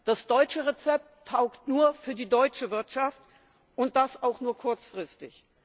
Das deutsche Rezept taugt nur für die deutsche Wirtschaft und das auch nur kurzfristig!